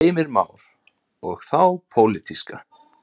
Heimir Már: Og þá pólitíska?